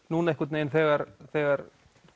núna einhvern vegin þegar þegar